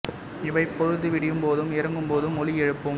இவை பொழுது விடியும் போதும் இறங்கும் போதும் ஒலி எழுப்பும்